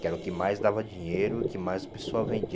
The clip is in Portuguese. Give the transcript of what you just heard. Que era o que mais dava dinheiro, o que mais a pessoa vendia.